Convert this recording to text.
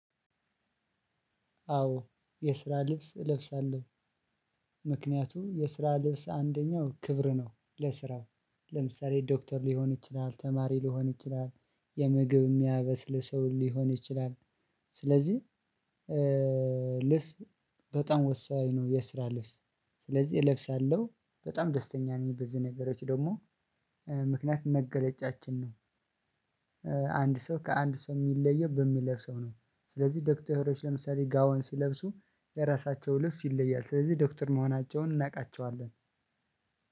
አዎ የስራ ልብስ እለብሳለሁ። ምክንያቱም የስራ ልብስ አንደኛው ክብር ነው ለስራው ለምሳሌ ዶክተር ሊሆን ይችላል ተማሪ ሊሆን ይችላል የምግብ እሚያበስል ሰው ሊሆን ይችላል። ስለዚህ ልስ በጣም ወሳኝ ነው። የስራ ልብስ ስለዚህ እለብሳለሁ በጣም ደስተኛ ነኝ በዚህ ነገሮች ደግሞ ምክንያት መገለጫችን ነው። አንድ ሰው ከአንድ ሰው እሚለየው በሚለብሰው ነው። ስለዚህ ዶክተሮች ለምሳሌ ጋውን ሲለብሱ በራሳቸው ልብስ ይለያል ስለዚህ ዶክተር መሆናቸውን እናውቃቸዋለን።